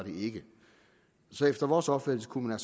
så efter vores opfattelse kunne